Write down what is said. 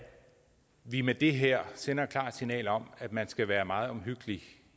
vi med det her sender et klart signal om at man skal være meget omhyggelig